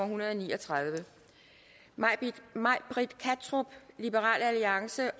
hundrede og ni og tredive may britt kattrup